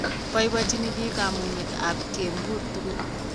Boibochine biiik kamung'e ak kempur tugul.